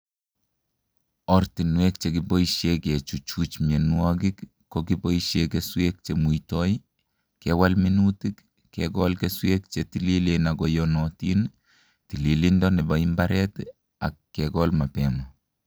Ortinwek chekiboisie kechuchuch mienwokik ko keboisie keswek che muitoi ,kewal minutik, kekol keswek che tililen akoyonotin, tililindo nebo imbaret ak kekol mapema